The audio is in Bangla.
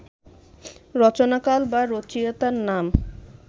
রচনাকাল বা রচয়িতার নাম